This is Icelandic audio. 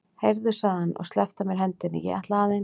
Heyrðu, sagði hann og sleppti af mér hendinni, ég ætla aðeins.